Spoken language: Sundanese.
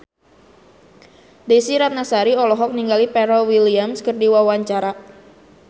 Desy Ratnasari olohok ningali Pharrell Williams keur diwawancara